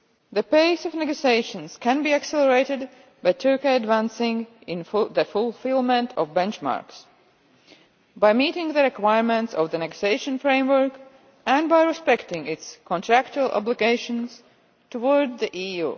The pace of negotiations can be accelerated by Turkey advancing in the fulfilment of benchmarks, by meeting the requirements of the negotiation framework and by respecting its contractual obligations towards the EU.